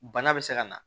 Bana bɛ se ka na